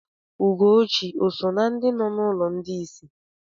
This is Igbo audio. Ugochi òsò na ndị nọ n'ụlọ ndị isi?